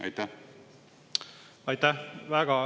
Aitäh!